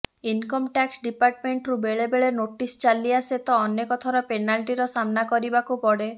income tax ଡିପାର୍ଟମେଣ୍ଟରୁ ବେଳେବେଳେ notice ଚାଲିଆସେ ତ ଅନେକ ଥର ପେନାଲ୍ଟିର ସାମ୍ନା କରିବାକୁ ପଡେ